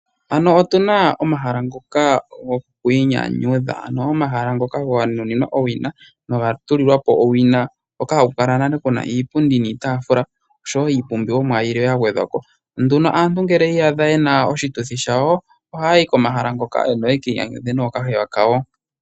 Ano otuna omahala ngoka gokwiinyanyudha, ano omahala ngoka ga nuninwa owina na oga tulilwa po owina. Hoka haku kala nale kuna iipundi niitafula, oshowo iipumbomwa yilwe ya gwedhwa po. Nduno aantu ngele oya iyadha yena oshituthi shawo, ohaya yi komahala ngoka ano ya ka inyanyudhe nookahewa kawo.